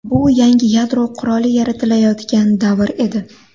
Bu yangi yadro quroli yaratilayotgan davr edi”.